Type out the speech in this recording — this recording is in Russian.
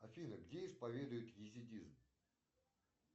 афина где исповедуют езидизм